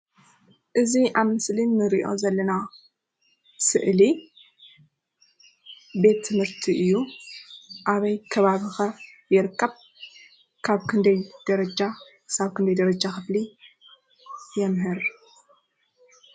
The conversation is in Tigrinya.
እዚ ኣብ ምስሊ እንሪኦ ዘለና ስእሊ ቤት ትምህርቲ እዩ፡፡ ኣበይ ከባቢ ኸ ይርከብ? ካብ ክንደይ ደረጃ ክሳብ ክንደይ ደረጃ ክፍሊ የምህር?